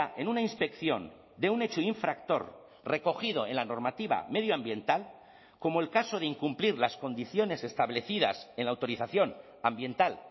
en una inspección de un hecho infractor recogido en la normativa medioambiental como el caso de incumplir las condiciones establecidas en la autorización ambiental